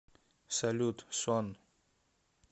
салют сон